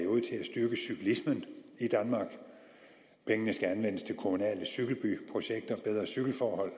styrke cyklismen i danmark pengene skal anvendes til kommunale cykelbyprojekter bedre cykelforhold